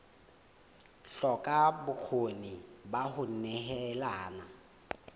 hloka bokgoni ba ho nehelana